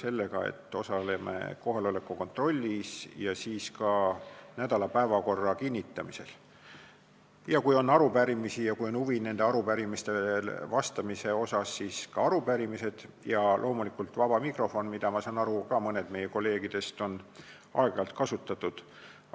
sellega, et me osaleme kohaloleku kontrollis ja ka nädala päevakorra kinnitamisel ning kui on arupärimisi ja on huvi nende vastu, siis osaleme ka seal, ja loomulikult on vaba mikrofon, mida, ma saan aru, mõned meie kolleegidest on aeg-ajalt kasutanud.